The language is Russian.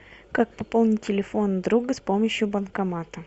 как пополнить телефон друга с помощью банкомата